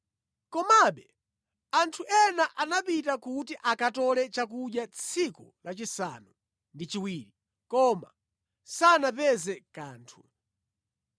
Komabe anthu ena anapita kuti akatole chakudya tsiku lachisanu ndi chiwiri, koma sanapeze kanthu.